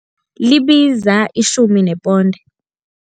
Libiza itjhumi neponde.